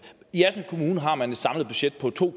i assens kommune har man et samlet budget på to